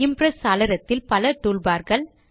Impress சாளரத்தில் பல toolbars